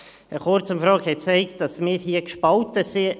Eine Kurzumfrage hat gezeigt, dass wir hier gespalten sind.